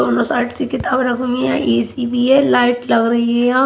Side से किताब रखी हुई है ए सी भी है लाइट लग रही है यहाँ।